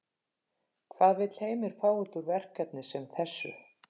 Hvað vill Heimir fá út úr verkefni sem þessu?